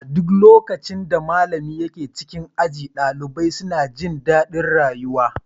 A duk lokacin da malamin ke cikin aji, ɗalibai suna jin daɗin rayuwa.